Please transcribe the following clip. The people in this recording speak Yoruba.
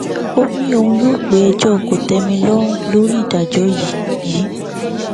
ó ní òun yóò pe ẹjọ kòtẹmilọrùn lórí ìdájọ yìí yìí